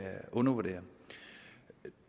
undervurdere